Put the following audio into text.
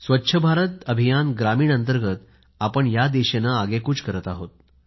स्वच्छ भारत मिशन ग्रामीण अंतर्गत आपण या दिशेने आगेकूच करत आहोत